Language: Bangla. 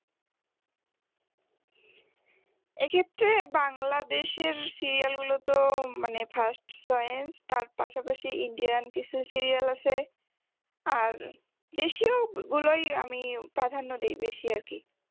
এক্ষেত্রে বাংলাদেশের serial গুলো তো মানে first choice তার পাশাপাশি indian কিছু serial আছে আর দেশীয় গুলোই আমি প্রাধান্য দি বেশি আরকি